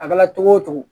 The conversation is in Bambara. A kɛra togo o togo